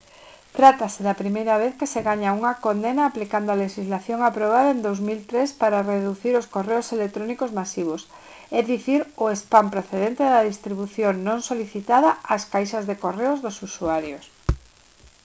trátase da primeira vez que se gaña unha condena aplicando a lexislación aprobada en 2003 para reducir os correos electrónicos masivos é dicir o spam procedente da distribución non solicitada ás caixas de correo dos usuarios